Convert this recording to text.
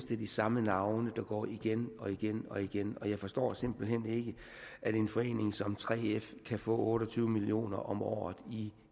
det er de samme navne der går igen og igen og igen og jeg forstår simpelt hen ikke at en forening som 3f kan få otte og tyve million kroner om året i